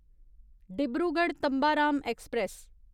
Dibrugarh Tambaram express